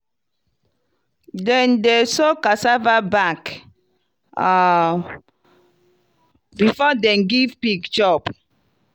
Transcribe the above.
dem dey soak cassava back um before dem give pig chop.